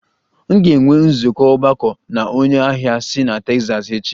M ga-enwe nzukọ ogbako na onye ahịa si Texas echi